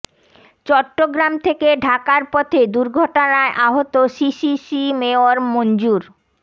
চট্টগ্রাম থেকে ঢাকার পথে দুর্ঘটনায় আহত সিসিসি মেয়র মনজুর